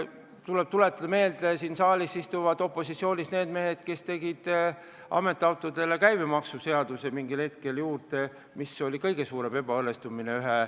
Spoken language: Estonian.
Tuleb aga meelde tuletada, et siin saalis istuvad opositsioonis need mehed, kes panid ametiautodele mingil hetkel käibemaksu juurde, mis oli väga suur ebaõnnestumine.